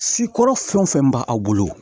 Sikɔrɔ fɛn wo fɛn b'a bolo